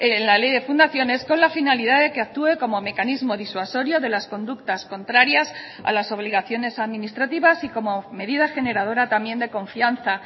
en la ley de fundaciones con la finalidad de que actúe como mecanismo disuasorio de las conductas contrarias a las obligaciones administrativas y como medida generadora también de confianza